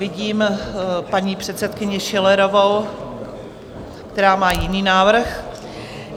Vidím paní předsedkyni Schillerovou, která má jiný návrh.